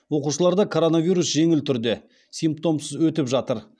оқушыларда коронавирус жеңіл түрде симптомсыз өтіп жатыр